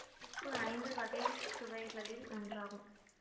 உப்பு ஐந்து வகை சுவைகளில் ஒன்றாகும்